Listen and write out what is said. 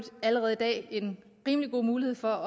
allerede i dag en rimelig god mulighed for